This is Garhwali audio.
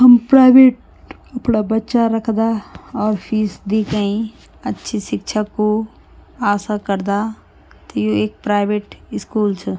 हम प्राइवेट अपड़ा बच्चा रखदा और फीस दी कई अच्छी शिक्षा कु आसा करदा त यु एक प्राइवेट स्कूल च।